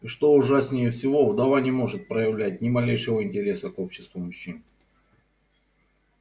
и что ужаснее всего вдова не может проявлять ни малейшего интереса к обществу мужчин